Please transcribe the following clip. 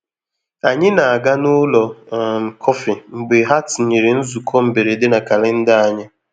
Ànyị na-aga n'ụlọ um kọfị mgbe ha tinyere nzukọ mberede na kalenda anyị.